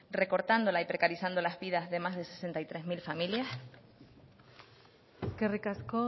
recortándola y precarizando las vidas de más de sesenta y tres mil familias eskerrik asko